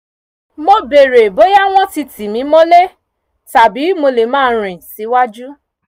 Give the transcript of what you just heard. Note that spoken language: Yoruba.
mo bèrè bóyá wọ́n ti tì mí mọ́lé tàbí mo lè máa rìn síwájú